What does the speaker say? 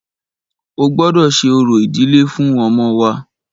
O gbọ́dọ ṣe orò ìdílé fún ọmọ wa!